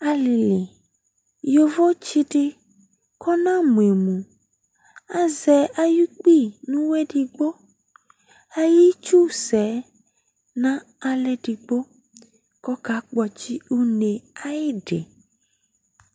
Alili, yovo tsi di kʋ ɔnamʋ emʋ, azɛ ayu kpi nʋ ʋwɔ ɛdigbo Ayitsu sɛ ɛ, n'aɣla edigbo kʋ ɔkakpɔtsi une e ayidi